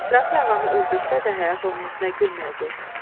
İsrafil ağanı öldürsə də həyat onun üzünə gülməyəcək.